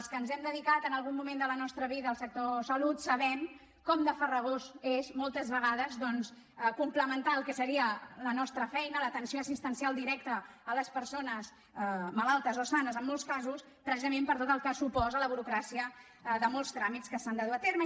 els que ens hem dedicat en algun moment de la nostra vida al sector salut sabem com de farragós és moltes vegades doncs complementar el que seria la nostra feina l’atenció assistencial directa a les persones malaltes o sanes en molts casos precisament per tot el que suposa la burocràcia de molts tràmits que s’han de dur a terme